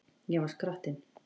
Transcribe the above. Ég var skrattinn.